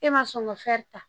E ma sɔn ka ta